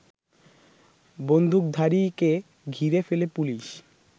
বন্দুকধারীকে ঘিরে ফেলে পুলিশ